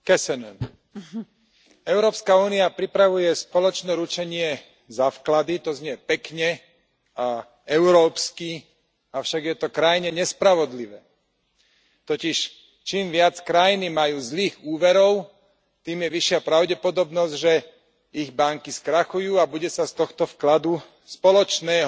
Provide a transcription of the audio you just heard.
Vážená pani predsedajúca, Európska únia pripravuje spoločné ručenie za vklady, to znie pekne a európsky, avšak je to krajne nespravodlivé. Totiž, čím viac krajiny majú zlých úverov, tým je vyššia pravdepodobnosť, že ich banky skrachujú a bude sa z tohto vkladu, spoločného